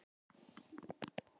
Hvað er að þér?